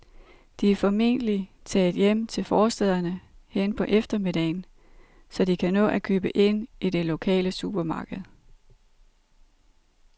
De er formentlig taget hjem til forstæderne hen på eftermiddagen, så de kan nå at købe ind i det lokale supermarked.